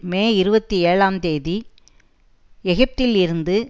மே இருபத்தி ஏழாம் தேதி எகிப்தில் இருந்து